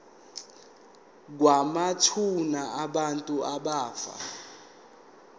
kwamathuna abantu abafa